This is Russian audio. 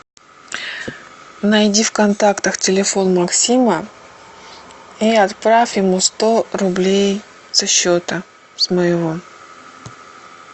найди в контактах телефон максима и отправь ему сто рублей со счета с моего